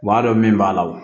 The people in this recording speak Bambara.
U b'a dɔn min b'a la o